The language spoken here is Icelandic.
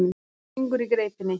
Syngur í greipinni.